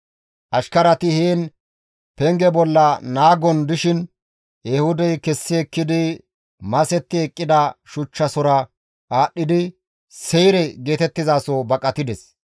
Ashkarati heen penge bolla naagon dishin Ehuudey kessi ekkidi masetti eqqida shuchchasora aadhdhidi Seyre geetettizaso baqatides.